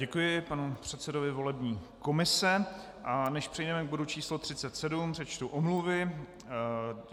Děkuji panu předsedovi volební komise, a než přejdeme k bodu číslo 37, přečtu omluvy.